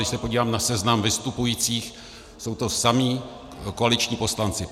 Když se podívám na seznam vystupujících, jsou to samí koaliční poslanci.